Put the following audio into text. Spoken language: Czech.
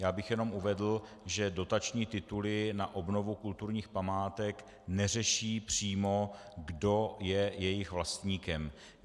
Já bych jenom uvedl, že dotační tituly na obnovu kulturních památek neřeší přímo, kdo je jejich vlastníkem.